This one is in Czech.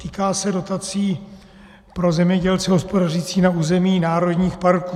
Týká se dotací pro zemědělce hospodařící na území národních parků.